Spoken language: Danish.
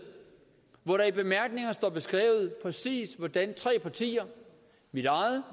hvor der i bemærkningerne står beskrevet præcis hvordan tre partier mit eget